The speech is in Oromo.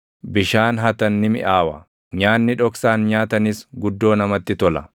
Bishaan hatan ni miʼaawa; nyaanni dhoksaan nyaatanis guddoo namatti tola!”